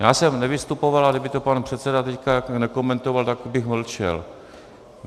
Já jsem nevystupoval, ale kdyby to pan předseda teď nekomentoval, tak bych mlčel.